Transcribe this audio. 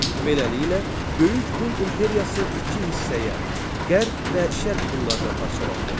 Beləliklə, Böyük Hun imperiyası iki hissəyə, qərb və Şərq Hunlarına parçalandı.